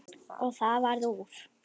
Og það varð úr.